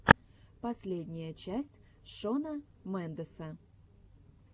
последняя часть шона мендеса